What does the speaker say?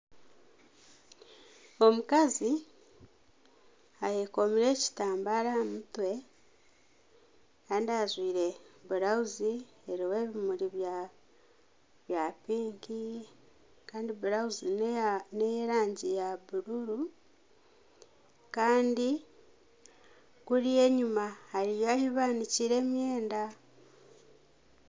Omukazi ayekomire ekitamba aha mutwe kandi ajwaire blauzi eriho ebimuri bya pinki kandi blauzi neye erangi ya buruuru kandi kuriya enyuma hariyo ahu baniikire emyenda.